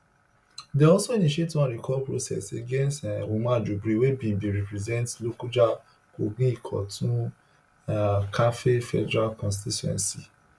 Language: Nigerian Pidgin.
dem also initiate one recall process against umar jibril wey bin bin represent lokoja kogi ikoton um karfe federal constituency